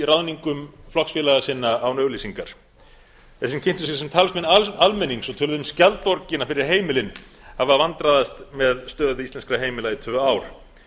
ráðningum flokksfélaga sinna án auglýsingar þeir sem kynntu sig sem talsmenn almennings og töluðu um skjaldborgina fyrir heimilin hafa vandræðast með stöðu íslenskra heimila í tvö ár